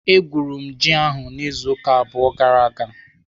Egwuru m ji ahụ n'izu ụka abụọ gara aga.